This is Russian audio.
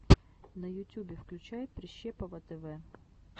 на ютюбе включай прищепова тв